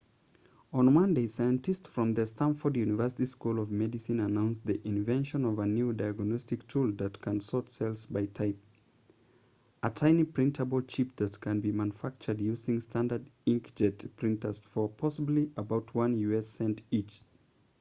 on monday scientists from the stanford university school of medicine announced the invention of a new diagnostic tool that can sort cells by type a tiny printable chip that can be manufactured using standard inkjet printers for possibly about one u.s. cent each